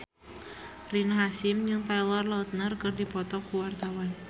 Rina Hasyim jeung Taylor Lautner keur dipoto ku wartawan